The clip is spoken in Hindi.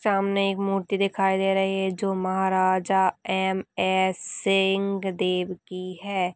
सामने एक मूर्ति दिखाई दे रही है जो महाराजा एम.एस. सिंह देव की है।